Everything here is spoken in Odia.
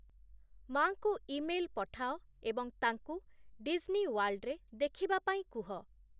ମା’ଙ୍କୁ ଇମେଲ୍ ପଠାଅ ଏବଂ ତାଙ୍କୁ ଡିସ୍ନି ୱାର୍ଲ୍ଡରେ ଦେଖିବା ପାଇଁ କୁହ